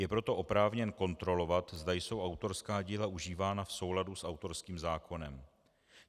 Je proto oprávněn kontrolovat, zda jsou autorská díla užívána v souladu s autorským zákonem.